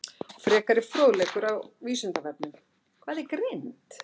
Frekari fróðleikur á Vísindavefnum: Hvað er greind?